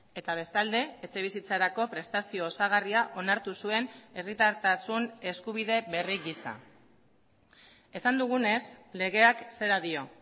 eta bestalde etxebizitzarako prestazio osagarria onartu zuen herritartasun eskubide berri gisa esan dugunez legeak zera dio